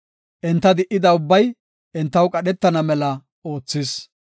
Enta di77ida ubbay, entaw qadhetana mela oothis.